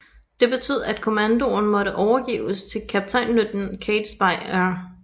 Det betød at kommandoen måtte overgives til kaptajnløjtnant Catesby R